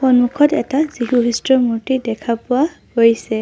সন্মুখত এটা যীশু খ্ৰীষ্টৰ মূৰ্ত্তি দেখা পোৱা গৈছে।